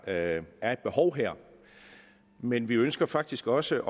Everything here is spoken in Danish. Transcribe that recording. at der er et behov her men vi ønsker faktisk også